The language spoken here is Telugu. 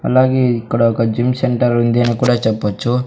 అలాగే ఇక్కడ ఒక జిమ్ సెంటర్ ఉంది అని కూడా చెప్పచ్చు.